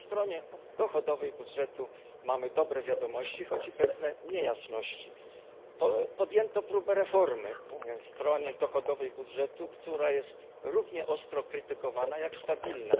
Ale po stronie dochodowej budżetu mamy dobre wiadomości, choć i pewne niejasności. Podjęto próbę reformy strony dochodowej budżetu, która od wielu lat jest równie ostro krytykowana, co stabilna.